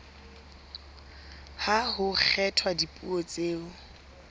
ha ho kgethwa dipuo tseo